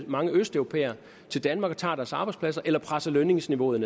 mange østeuropæere til danmark og tager deres arbejdspladser eller presser lønniveauet